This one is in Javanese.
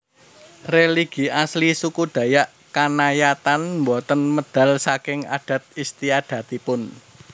Religi asli suku Dayak Kanayatn boten medal saking adat istiadatipun